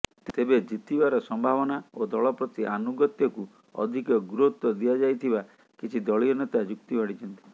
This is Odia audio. ତେବେ ଜିତିବାର ସମ୍ଭାବନା ଓ ଦଳପ୍ରତି ଆନୁଗତ୍ୟକୁ ଅଧିକ ଗୁରୁତ୍ୱ ଦିଆଯାଇଥିବା କିଛି ଦଳୀୟ ନେତା ଯୁକ୍ତି ବାଢ଼ିଛନ୍ତି